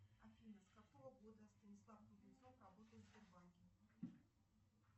афина с какого года станислав кузнецов работает в сбербанке